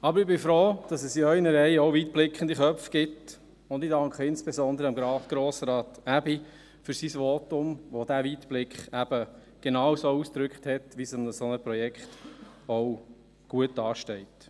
Aber ich bin froh, dass es in Ihren Reihen auch weitblickende Köpfe gibt, und ich danke insbesondere Grossrat Aebi für sein Votum, das diesen Weitblick genauso ausgedrückt hat, wie es einem solchen Projekt auch gut ansteht.